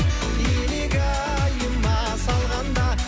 илигайыма салғанда